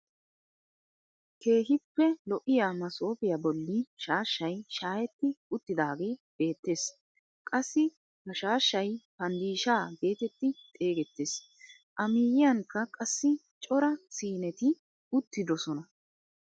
Keehippe lo'iyaa masoofiyaa bolli shaashay shaayetti uttidaage beettees. qassi ha shaashay panddishshaa getetti xeegettees. a miyiyanikka qassi cora siineti uttidosona.